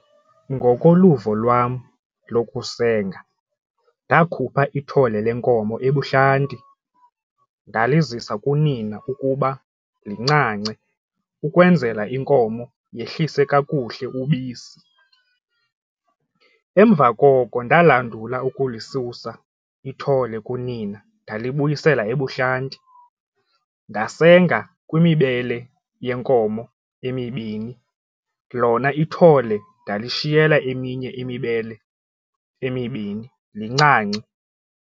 Ngokoluvo lwam lokusena ndakhupha ithole lenkomo ebuhlanti ndalizisa kunina ukuba lincance ukwenzela inkomo yehlise kakuhle ubisi, emva koko ndalandula ukulisusa ithole kunina ndalibuyisela ebuhlanti ndasenga kwimibele yenkomo emibini lona ithole ndalishiyela eminye imibele emibini lincance.